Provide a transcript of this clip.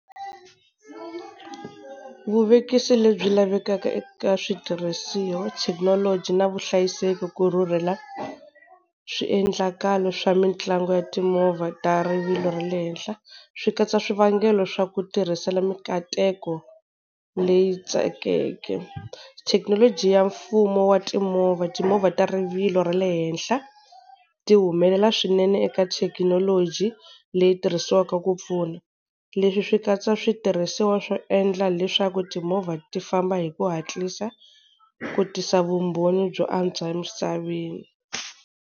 Vuvekisi lebyi lavekaka eka switirhisiwa thekinoloji na vuhlayiseki ku rhurhela swiendlakalo swa mitlangu ya timovha ta rivilo ra le henhla swi katsa swivangelo swa ku tirhisela mikateko leyi tsakeke. Thekinoloji ya mfumo wa timovha, timovha ta rivilo ra le henhla, ti humelela swinene eka thekinoloji leyi tirhisiwaka ku pfuna. Leswi swi katsa switirhisiwa swo endla leswaku timovha ti famba hi ku hatlisa ku tisa vumbhoni byo antswa emisaveni.